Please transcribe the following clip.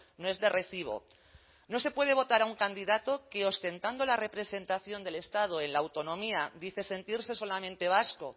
no es de recibo no se puede votar a un candidato que ostentando la representación del estado en la autonomía dice sentirse solamente vasco